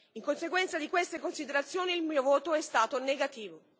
In conseguenza di queste considerazioni, il mio voto è stato negativo.